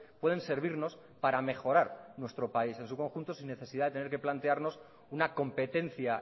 pueden servirnos para mejorar nuestro país es un conjunto sin necesidad de tener que plantearnos una competencia